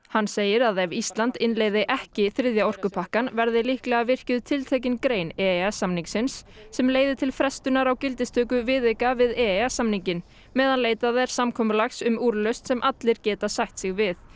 hann segir að ef Ísland innleiðir ekki þriðja orkupakkann verði líklega virkjuð tiltekin grein e e s samningsins sem leiðir til frestunar á gildistöku viðauka við e e s samninginn meðan leitað er samkomulags um úrlausn sem allir geta sætt sig við